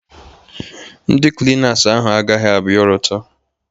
Ndị Klinas ahụ agaghị abịa ọrụ taa.